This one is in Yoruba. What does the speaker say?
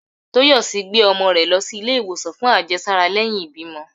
Toyòsí gbé omò re lo sí ìlé iwosan fún àjésárá leyin ìbímo